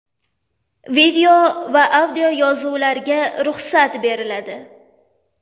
Video va audio yozuvlarga ruxsat beriladi.